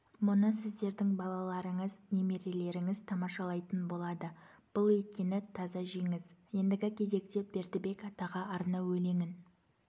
мұны сіздердің балаларыңыз немерелеріңіз тамашалайтын болады бұл өйткені таза жеңіс ендігі кезекте бердібек атаға арнау өлеңін